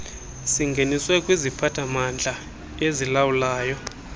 singeniswe kwiziphathamandla ezilawulayo